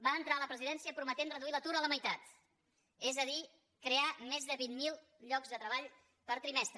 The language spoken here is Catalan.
va entrar a la presidència prometent reduir l’atur a la meitat és a dir crear més de vint mil llocs de treball per trimestre